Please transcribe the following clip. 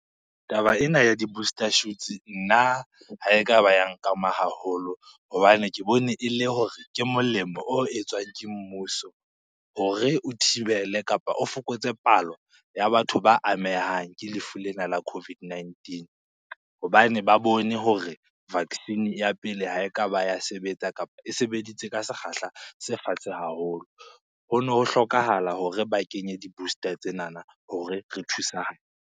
Taba ena ya di-booster shoots, nna ha ekaba ya nkama haholo hobane ke bone e le hore ke molemo o etswang ke mmuso hore o thibele kapa o fokotse palo ya batho ba amehang ke lefu lena la COVID-19. Hobane ba bone hore vaccine ya pele ha ekaba ya sebetsa kapa e sebeditse ka sekgahla se fatshe haholo. Hono ho hlokahala hore ba kenye di-booster tsenana hore re .